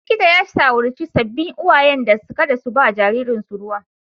Likita ya shawarci sabbin uwayen da kada su ba jariransu ruwa.